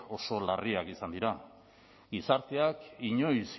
oso larriak izan dira gizarteak inoiz